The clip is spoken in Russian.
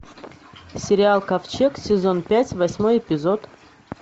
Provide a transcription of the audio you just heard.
сериал ковчег сезон пять восьмой эпизод